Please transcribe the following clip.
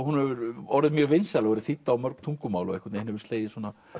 hefur orðið mjög vinsæl og verið þýdd á mörg tungumál og einhvern veginn hefur slegið